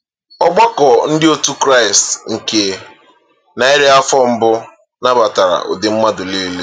Ọgbakọ ndị otu Kraịst nke narị afọ mbụ nabatara “ụdị mmadụ nile.”